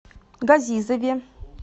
газизове